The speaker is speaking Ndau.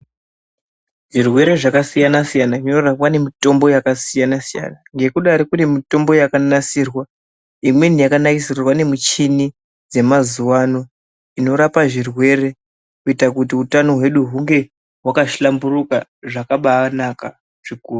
Zvirwere zvakasiyana-siyana zvinorapwa nemitombo yakasiyana-siyana. Ngekudari kune mitombo yakanasirwa imweni yakanasirwa nemichini dzemazuva ano inorapa zvirwere. Kuta kuti utano hwedu hunge hwakahlamburuka zvakabanaka zvikuru.